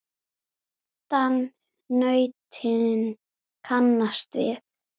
svoddan nautin kannast við.